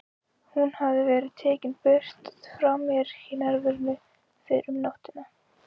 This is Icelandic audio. Hún hafði verið tekin burt frá mér í nærverunni fyrr um nóttina.